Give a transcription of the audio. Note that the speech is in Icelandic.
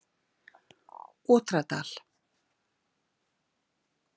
Otradal